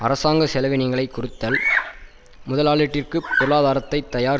அரசாங்க செலவீனங்களைக் குறத்தல் முதலாட்டிற்குப் பொருளாதாரத்தைத் தயார்